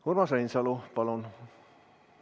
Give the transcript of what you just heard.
Urmas Reinsalu, palun!